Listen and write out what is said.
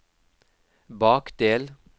bakdel